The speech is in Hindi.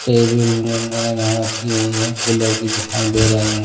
टेबल रखी हुई हैं कूलर भी दिखाई दे रहे हैं।